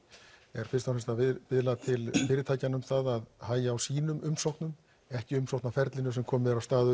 er fyrst og fremst að biðla til fyrirtækjanna um að hægja á sínum umsóknum ekki umsóknarferlinu sem komið er af stað